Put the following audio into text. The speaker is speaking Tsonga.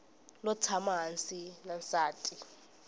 lo tshama hansi na nsati